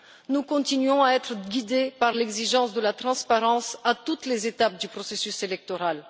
Nous continuons à être guidés par l'exigence de la transparence à toutes les étapes du processus électoral.